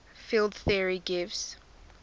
field theory gives